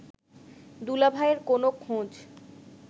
দুলাভাইয়ের কোন খোঁজ